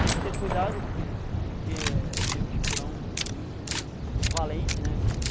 Tem que ter cuidado porque porque tem um espurão muito valente, né?